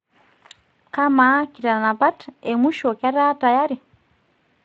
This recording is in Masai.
kamaa kitanapt emwisho ketaa tayari